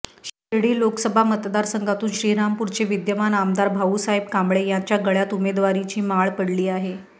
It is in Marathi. शिर्डी लोकसभा मतदारसंघातून श्रीरामपूरचे विद्यमान आमदार भाऊसाहेब कांबळे यांच्या गळ्यात उमेदवारीची माळ पडली आहे